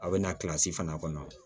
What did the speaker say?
A bɛ na fana kɔnɔ